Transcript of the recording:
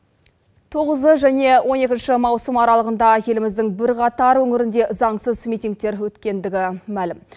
тоғызы және он екінші маусым аралығында еліміздің бірқатар өңірінде заңсыз митингтер өткендігі мәлім